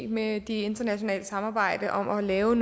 med det internationale samarbejde om at lave